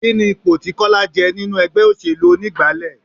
Kini ipò tí Kọ́lá je nínú ẹgbẹ́ òṣèlú onígbálé?